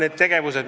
Aitäh teile!